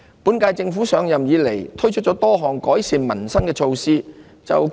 本屆政府上任以來，推出多項改善民生的措施。